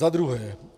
Za druhé.